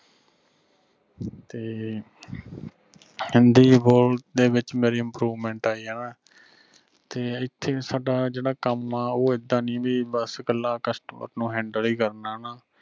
ਤੇ ਹਿੰਦੀ ਬੋਲਦੇ ਵਿਚ ਮੇਰੀ improvement ਆਈ ਹਣਾ ਤੇ ਐਥੇ ਵੀ ਸਾਡਾ ਜਿਹੜਾ ਕੰਮ ਆ ਉਹ ਐਦਾਂ ਨਹੀਂ ਵੀ ਬਸ ਕਲਾ customer ਨੂੰ handle ਈ ਕਰਨਾ ਹਣਾ।